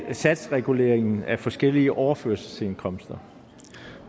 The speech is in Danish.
af satsregulering af forskellige overførselsindkomster